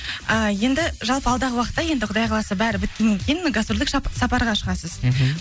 ііі енді жалпы алдағы уақытта енді құдай қаласа бәрі біткеннен кейін гастрольдік сапараға шығасыз мхм